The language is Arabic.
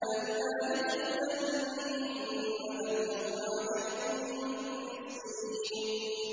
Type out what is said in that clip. أَن لَّا يَدْخُلَنَّهَا الْيَوْمَ عَلَيْكُم مِّسْكِينٌ